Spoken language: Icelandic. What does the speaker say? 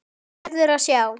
Þú verður að sjá!